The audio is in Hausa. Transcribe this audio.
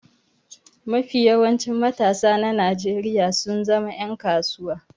Mafi yawancin matasa na Nnajeriya sun zama yan kasuwa.